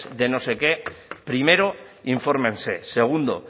de no sé qué primero infórmense segundo